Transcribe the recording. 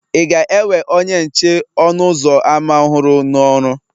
Ị ga-ewe onye nche ọnụ ụzọ ámá ọhụrụ n'ọrụ?